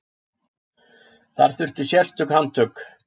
Þar þurfti sérstök handtök.